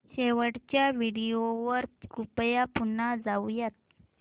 शेवटच्या व्हिडिओ वर कृपया पुन्हा जाऊयात